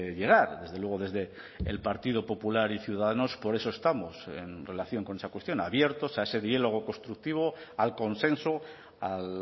llegar desde luego desde el partido popular y ciudadanos por eso estamos en relación con esa cuestión abiertos a ese diálogo constructivo al consenso a